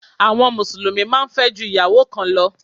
Àwọn Mùsùlùmí máa ń fẹ́ ju ìyàwó kan lọ